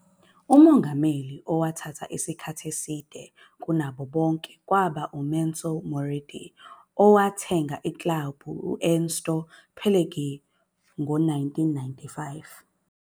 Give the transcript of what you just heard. Umongameli othathe isikhathi eside kunabo bonke kwaba nguMassimo Moratti, owathenga iklabhu ku- Ernesto Pellegrini ngo-1995